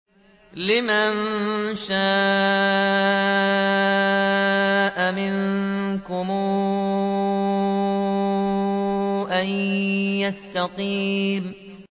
لِمَن شَاءَ مِنكُمْ أَن يَسْتَقِيمَ